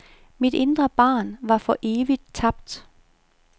Mit indre barn var for evigt tabt.